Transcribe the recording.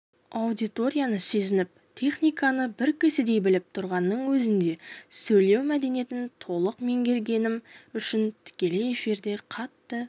аудиторияны сезініп техниканы бір кісідей біліп тұрғанның өзінде сөйлеу мәдениетін толық меңгермегенім үшін тікелей эфирде қатты